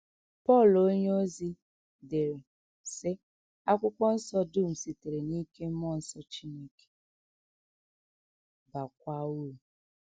Pọl onyeozi dere, sị: “ Akwụkwọ Nsọ dum sitere n’ike mmụọ nsọ Chineke, baakwa uru. ”